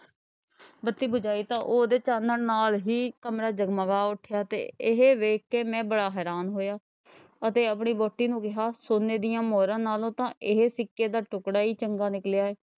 ਬੱਤੀ ਜਗਾਈ ਤਾਂ ਉਹਦੇ ਚਾਨਣ ਨਾਲ ਹੀ ਕਮਰਾ ਜਗਮਗਾ ਉੱਠਿਆ ਤੇ ਇਹ ਵੇਖ ਕੇ ਮੈਂ ਬੜਾ ਹੈਰਾਨ ਹੋਇਆ ਅਤੇ ਆਪਣੀ ਵਹੁਟੀ ਨੂੰ ਕਿਹਾ ਸੋਨੇ ਦੀਆਂ ਮੋਹਰਾਂ ਨਾਲੋਂ ਤਾਂ ਇਹ ਸਿੱਕੇ ਦਾ ਟੁੱਕੜਾ ਈ ਚੰਗਾ ਨਿਕਲਿਆ।